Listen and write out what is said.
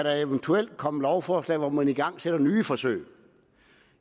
eventuelt kan komme lovforslag hvor man igangsætter nye forsøg